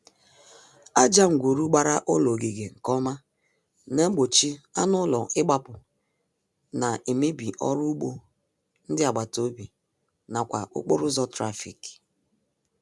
Aja ngwuru gbara ụlọ ogige nkeọma na-gbochi anụụlọ ịgbapụ na-emebi ọrụugbo ndị agbataobi n'akwa okporoụzọ trafik